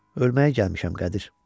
Ölməyə gəlmişəm, Qədir.